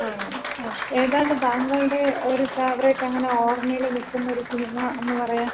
ങ്ങാ, അങ്ങനെ. ഏതാണ് താങ്കളുടെ ഒര് ഫെവറേറ്റ് അങ്ങനെ ഓർമയില് നിക്കുന്ന ഒര് സിനിമന്ന് പറയാൻ?